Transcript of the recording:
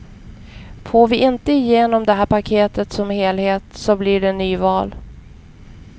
Får vi inte igenom det här paketet som helhet så blir det nyval.